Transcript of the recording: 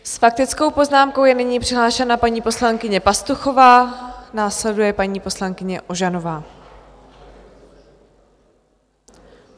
S faktickou poznámkou je nyní přihlášena paní poslankyně Pastuchová, následuje paní poslankyně Ožanová.